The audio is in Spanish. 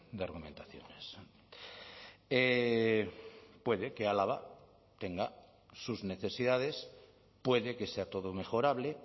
de argumentaciones puede que álava tenga sus necesidades puede que sea todo mejorable